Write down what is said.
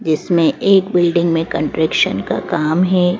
जिसमें एक बिल्डिंग में कंट्रेक्शन का काम है।